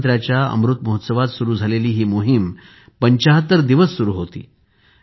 स्वातंत्र्याच्या अमृत महोत्सवात सुरु झालेली हि मोहीम ७५ दिवस सुरु होती